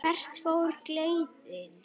Hvert fór þá gleðin?